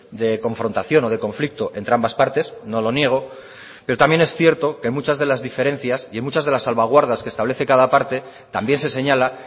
de confrontación o de conflicto entre ambas partes no lo niego pero también es cierto que en muchas de las diferencias y en muchas de las salvaguardas que establece cada parte también se señala